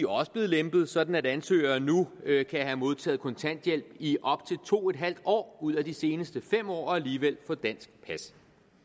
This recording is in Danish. også blevet lempede sådan at ansøgeren nu kan have modtaget kontanthjælp i op til to en halv år ud af de seneste fem år og alligevel få dansk pas